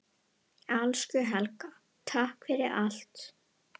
Elsku Helga, takk fyrir allt.